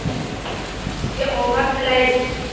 - Sizga omad tilaymiz!